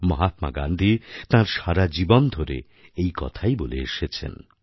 মহাত্মা গান্ধী তাঁর সারা জীবন ধরে এই কথাই বলে এসেছেন